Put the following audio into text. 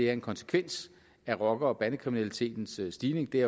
er en konsekvens af rocker og bandekriminalitetens stigning det er